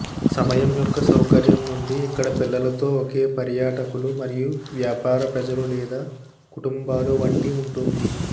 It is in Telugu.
సమయం యొక్క సౌకర్యం నుండి ఇక్కడ పిల్లలతో ఒకే పర్యాటకులు మరియు వ్యాపార ప్రజలు లేదా కుటుంబాలు వంటి ఉంటుంది